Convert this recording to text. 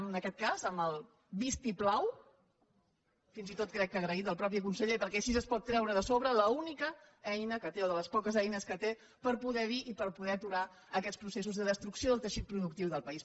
en aquest cas amb el vistiplau fins i tot crec que agraït del mateix conseller perquè així es pot treure de sobre l’única eina que té o una de les poques eines que té per poder aturar aquests processos de destrucció del teixit productiu del país